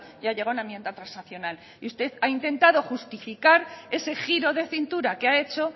y ha llegado a una enmienda transaccional y usted ha intentado justificar ese giro de cintura que ha hecho